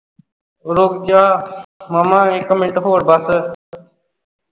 ਰੁਕ ਜਾ ਮਾਮਾ ਇਕ ਮਿੰਟ ਹੋਰ ਬਸ